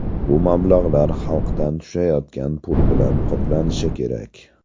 Bu mablag‘lar xalqdan tushayotgan pul bilan qoplanishi kerak.